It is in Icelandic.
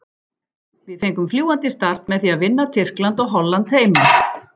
Við fengum fljúgandi start með því að vinna Tyrkland og Holland heima.